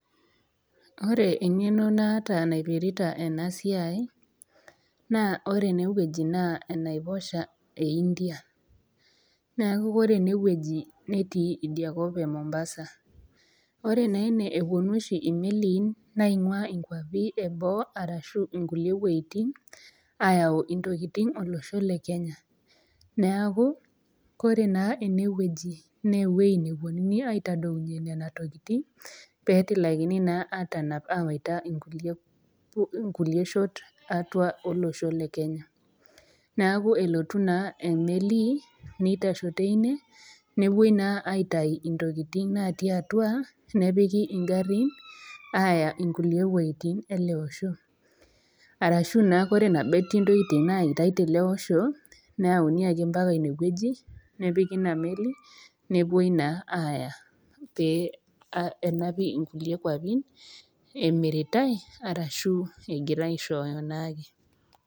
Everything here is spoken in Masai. Ore eng'eno naata naipirita ena siai, naa ore ene wueji naa enaiposha e India, neaku ore ene wueji netii ina kop Mombasa. Ore naa ene, epuonu oshi imeliin naing'ua inkwapi e boo arashu inkulie wuejitin ayau intokitin olosho le Kenya. Neaku ore ene wueji naa ewueji nepuonuni aitadounye Nena tokitin, pee etilakini naa atanap awaita inkulie shot e atua olosho le Kenya. Neaku elotu naa emeli neitasho teine, nepuoi naa aitayu intokitin natii atua nepiki ing'arin aaya inkulie wuejitin ele osho, arashu naa Kore pee etii intokitin nayaaitai tele osho, nepiki Ina meli, nepuoi naa aaya pee enapi inkulie kwapi emiritai arashu egirai aishooyo naake.